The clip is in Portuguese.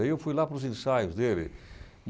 Aí eu fui lá para os ensaios dele.